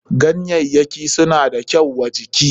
Ganyayyakin suna da kyau wa jiki.